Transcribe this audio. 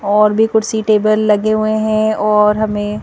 और भी कुर्सी टेबल लगे हुए हैं और हमें--